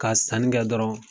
Ka sannikɛ dɔrɔn